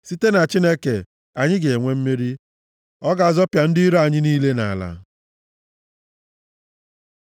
Site na Chineke, anyị ga-enwe mmeri, ọ ga-azọpịa ndị iro anyị niile nʼala.